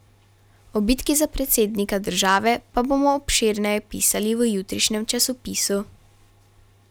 O bitki za predsednika države pa bomo obširneje pisali v jutrišnjem časopisu.